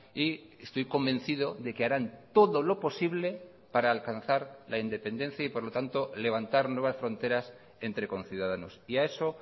y estoy convencido de que harán todo lo posible para alcanzar la independencia y por lo tanto levantar nuevas fronteras entre conciudadanos y a eso